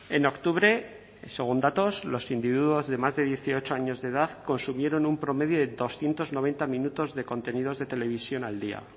en octubre según datos los individuos de más de dieciocho años de edad consumieron un promedio de doscientos noventa minutos de contenidos de televisión al día